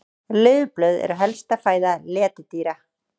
Laufblöð eru helsta fæða letidýra.